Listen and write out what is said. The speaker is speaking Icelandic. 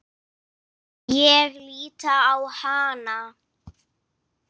Ég lít á hana.